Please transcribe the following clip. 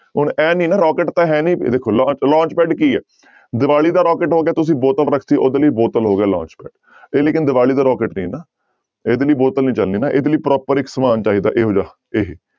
ਹੁਣ ਇਹ ਨੀ ਨਾ rocket ਤਾਂਂ ਹੈ ਨੀ ਵੇਖੋ ਲੋ launch pad ਕੀ ਹੈ ਦੀਵਾਲੀ ਦਾ rocket ਹੋ ਗਿਆ ਤੁਸੀਂ ਬੋਤਲ ਰੱਖ ਦਿੱਤੀ ਉਹਦੇ ਲਈ ਬੋਤਲ ਹੋ ਗਿਆ launch pad ਇਹ ਲੇਕਿੰਨ ਦੀਵਾਲੀ ਦਾ rocket ਨਹੀਂ ਹੈ ਨਾ ਇਹਦੇ ਲਈ ਬੋਤਲ ਨੀ ਚੱਲਣੀ ਨਾ ਇਹਦੇ ਲਈ proper ਇੱਕ ਸਮਾਨ ਚਾਹੀਦਾ ਇਹੋ ਜਿਹਾ ਇਹ।